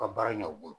Ka baara ɲ'u bolo